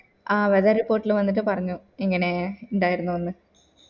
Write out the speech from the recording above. ആഹ് whether report വന്നിട്ട് പറഞ്ഞു ഇങ്ങനെ ഇണ്ടായിരുന്ന്